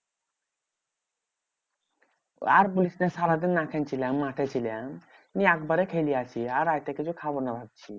আর বলিস না সারাদিন না খেয়ে ছিলাম মাঠে ছিলাম। নিয়ে একবারে খেয়ে লিয়াছি আর রাইতে কিছু খাবো না ভাবছি।